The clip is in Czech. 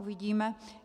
Uvidíme.